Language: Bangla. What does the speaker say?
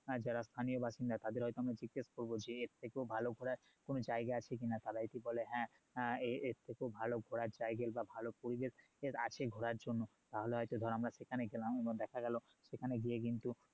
আর যারা স্থানীয় বাসিন্দা তাদের হয়তো আমরা জিজ্ঞেস করবো যে এর থেকেও ভালো ঘোরার জায়গা আছে কি না তারা যদি বলে হ্যাঁ হ্যাঁ এর থেকেও ভালো ঘোরার জায়গা বা ভালো পরিবেশ আছে ঘোরার জন্য তাহলে হয়তো ধর আমরা সেখানেও গেলাম এবার দেখা গেলো সেখানে গিয়ে কিন্তু